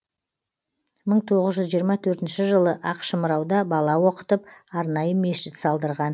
мың тоғыз жүз жиырма төртінші жылы ақшымырауда бала оқытып арнайы мешіт салдырған